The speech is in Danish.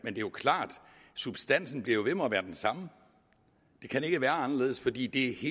er jo klart at substansen bliver ved med at være den samme det kan ikke være anderledes fordi det